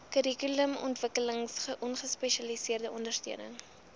kurrikulumontwikkeling gespesialiseerde ondersteuning